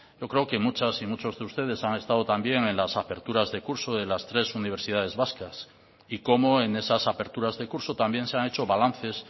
yo creo que muchas y muchos de ustedes han estado también en las aperturas de curso en las tres universidades vascas y cómo en esas aperturas de curso también se han hecho balances